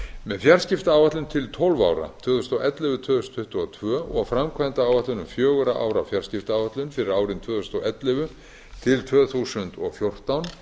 með fjarskiptaáætlun til tólf ára tvö þúsund og ellefu til tvö þúsund tuttugu og tvö og framkvæmdaáætlun um fjögurra ára fjarskiptaáætlun fyrir árin tvö þúsund og ellefu til tvö þúsund og fjórtán